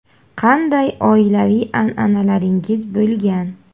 – Qanday oilaviy an’analaringiz bo‘lgan?